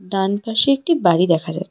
ডানপাশে একটি বাড়ি দেখা যাচ্ছে।